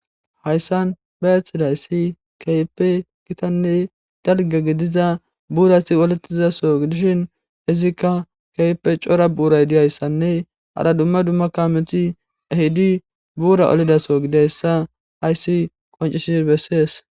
hayssan ba ethidayssi keype gitanne dalga gidiza buurasi oletizaso idishin izikka keype cora buuraydihayssanne hara dumma dumma kameti ehidi buura olidaso gidayssa haysi qoncisi bessees